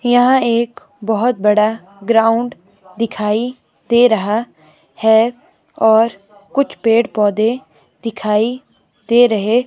यहाँ एक बहोत बड़ा ग्राउंड दिखाई दे रहा है और कुछ पेड़ पोधै दिखाई दे रहे --